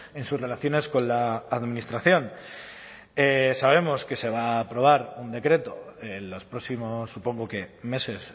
en sus relaciones con la administración sabemos que se va a aprobar un decreto en los próximos supongo que meses